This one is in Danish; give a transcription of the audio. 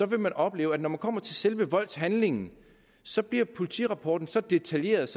vil man opleve at når man kommer til selve voldshandlingen så bliver politirapporten så detaljeret